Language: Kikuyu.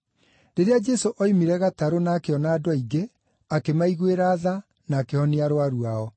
Rĩrĩa Jesũ oimire gatarũ na akĩona andũ aingĩ, akĩmaiguĩra tha, na akĩhonia arũaru ao.